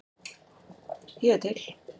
Ég er til